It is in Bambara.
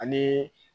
Ani